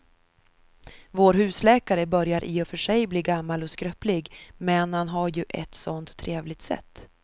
Vår husläkare börjar i och för sig bli gammal och skröplig, men han har ju ett sådant trevligt sätt!